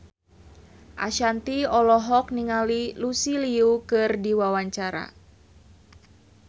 Ashanti olohok ningali Lucy Liu keur diwawancara